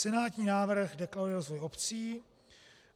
Senátní návrh deklaruje rozvoj obcí.